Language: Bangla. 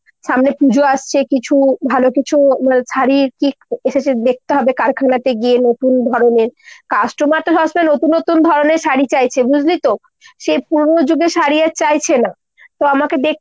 সামনে পুজো আসছে কিছু ভালো কিছু শাড়ীর কী এসেছে দেখতে হবে কারখানাতে গিয়ে নতুন ধরণের। customer তো সবসময় নতুন নতুন ধরণের শাড়ী চাইছে বুঝলি তো ? সে পুরোনো যুগের শাড়ী আর চাইছে না। তো আমাকে